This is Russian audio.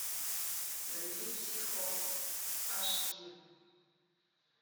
набери психо аш ди